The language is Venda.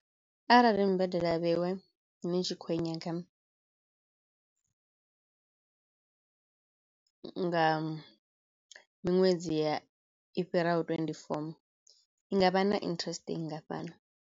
Arali mbadelo ya vheiwe ni tshi khou i nyaga nga miṅwedzi ya i fhiraho twenty-four i ngavha na interest i nngafhani.